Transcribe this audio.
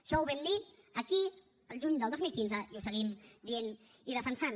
això ho vam dir aquí el juny del dos mil quinze i ho seguim dient i defensant